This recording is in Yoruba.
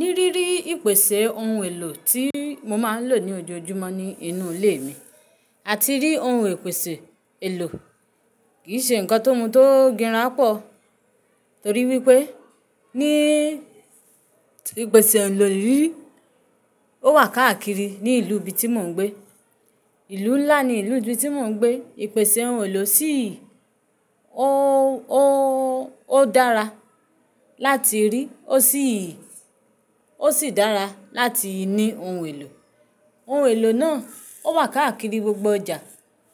Ní rírí ìpèsè ohun èlò tí mo máa ń lò ní ojoojúmọ́ ní inú ilé mi àti rí ohun ìpèsè èlò kì í ṣe ǹkan tó mú tó gbíra pọ̀. Nítorí wípé ní ìpèsè ohun èlò rírí ó wà káàkiri ní ìlú ibi tí mò ń gbé. Ìlú ńlá ni ìlú ibi tí mò ń gbé. Ìpèsè ohun èlò ṣì ó, ó dára láti rí ó sì, ó sì dára láti ní ohun èlò. Ohun èlò náà ó wà káàkiri gbogbo ọjà.